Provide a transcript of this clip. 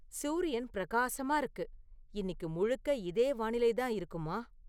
சூரியன் பிரகாசமா இருக்கு இன்னிக்கு முழுக்க இதே வானிலை தான் இருக்குமா